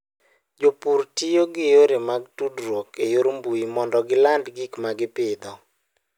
Jopur tiyo gi yore mag tudruok e yor mbuyi mondo giland gik ma gipidho.